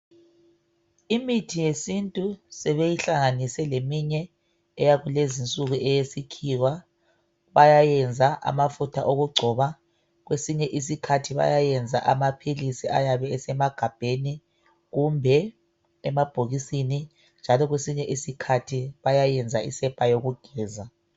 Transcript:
Imithi yesintu sebeyihlanganise leminye eyakulezinsuku eyesikhiwa, bayayenza amafutha okugcoba, kwesinye isikhathi bayayenza amaphilisi ayabe esemagabheni kumbe emabhokisini, njalo kwesinye isikhathi bayayenza isepa yokugeza.